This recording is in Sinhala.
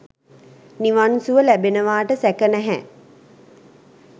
නිවන් සුව ලැබෙනවාට සැක නැහැ.